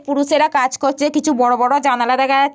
পুরুষেরা কাজ করছে কিছু বড়ো বড়ো জানালা দেখা যাচ --